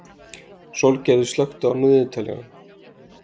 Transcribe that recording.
Sólgerður, slökktu á niðurteljaranum.